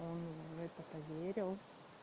он в это поверил